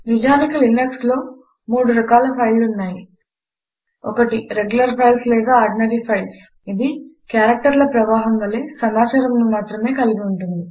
నిజానికి Linuxలో మూడు రకాల ఫైళ్ళు ఉన్నాయి 1 రెగ్యులర్ ఫైల్స్ లేదా ఆర్డినరీ ఫైల్స్160 ఇది క్యారెక్టర్ల ప్రవాహము వలె సమాచారమును మాత్రమే కలిగి ఉంటుంది